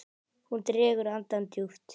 Hún dregur andann djúpt.